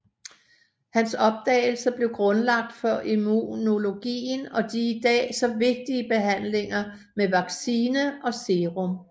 Hans opdagelser blev grundlaget for immunologien og de i dag så vigtige behandlinger med vaccine og serum